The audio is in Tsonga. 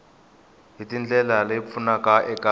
hi ndlela leyi pfunaka eka